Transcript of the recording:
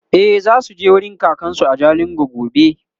e zasuje wurin kakansu a jalingo gobe